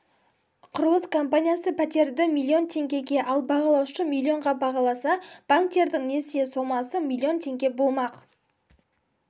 құрылыс компаниясы пәтерді миллион теңгеге ал бағалаушы миллионға бағаласа банктердің несие сомасы миллион теңге болмақ